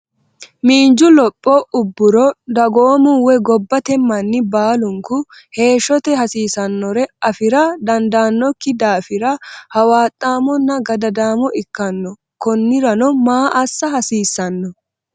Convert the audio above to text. Miinju lopho ubburo dagoomu woy gobbate manni baalunku heeshshote hasiisannore afi’rate dandaannokki daafira hawaaxaamonna gadadaamo ikkanno konnirano maa assa hasiisano?